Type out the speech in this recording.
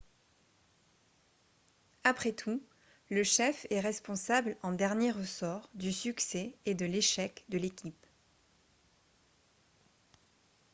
après tout le chef est responsable en dernier ressort du succès et de l'échec de l'équipe